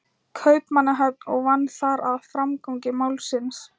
Kaupmannahöfn og vann þar að framgangi málsins.